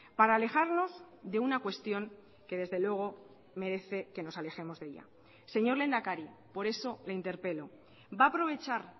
para alejarnos de una cuestión que desde luego merece que nos alejemos de ella señor lehendakari por eso le interpelo va a aprovechar